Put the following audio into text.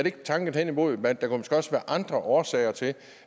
ikke tanken hen imod at der måske også kan være andre årsager til